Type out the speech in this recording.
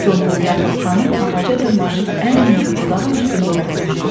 Qombulyakap xanım ağaca dırmaşıb ən hündür budağın üstündə oturmuşdu.